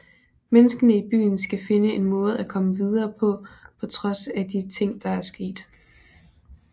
Menneskene i byen skal finde en måde at komme videre på på trods af de ting der er sket